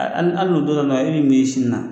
al al al n'u t'o dɔn nahil mi si na